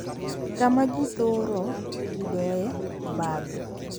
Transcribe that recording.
Kama ji thoro yudoe obadho